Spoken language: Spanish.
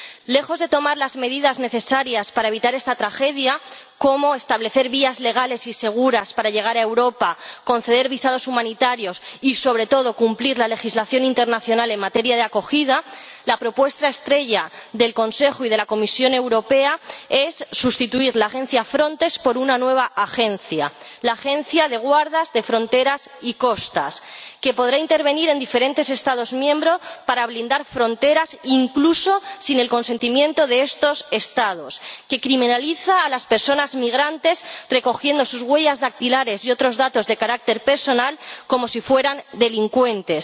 Lejos de tomar las medidas necesarias para evitar esta tragedia, como establecer vías legales y seguras para llegar a Europa, conceder visados humanitarios y, sobre todo, cumplir la legislación internacional en materia de acogida, la propuesta estrella del Consejo y de la Comisión Europea es sustituir la agencia Frontex por una nueva agencia, la Agencia Europea de la Guardia de Fronteras y Costas, que podrá intervenir en diferentes Estados miembros para blindar fronteras, incluso sin el consentimiento de estos Estados, que criminaliza a las personas migrantes, recogiendo sus huellas dactilares y otros datos de carácter personal como si fueran delincuentes